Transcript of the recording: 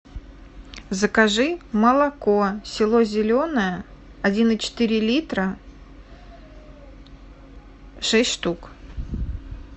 закажи молоко село зеленое один и четыре литра шесть штук